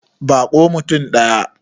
Ba ko mutum ɗaya.